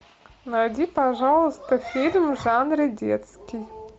найди пожалуйста фильм в жанре детский